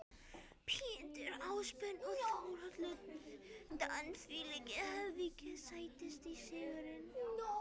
Pétur Ásbjörn og Þórhallur Dan þvílíkir höfðingjar Sætasti sigurinn?